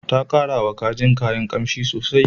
Ta karawa kajin kayan ƙanshi sosai.